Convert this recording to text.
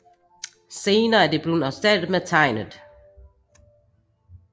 Senere er det blevet erstattet med tegnet 壯